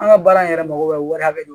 An ka baara in yɛrɛ mago bɛ wari hakɛ min na